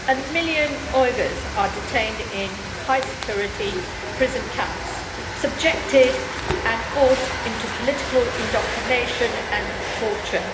A million Uyghurs are detained in high security prison camps, subjected to and forced into political indoctrination and torture.